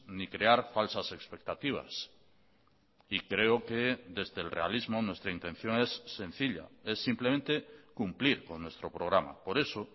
ni crear falsas expectativas y creo que desde el realismo nuestra intención es sencilla es simplemente cumplir con nuestro programa por eso